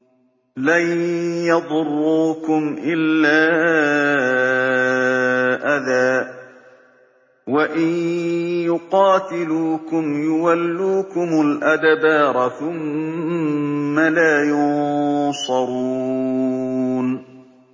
لَن يَضُرُّوكُمْ إِلَّا أَذًى ۖ وَإِن يُقَاتِلُوكُمْ يُوَلُّوكُمُ الْأَدْبَارَ ثُمَّ لَا يُنصَرُونَ